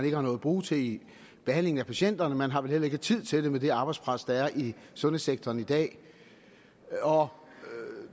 ikke har noget at bruge til i behandlingen af patienterne man har vel heller ikke tid til det med det arbejdspres der er i sundhedssektoren i dag og